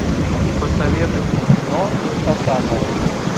посоветуй мне кино инкассаторы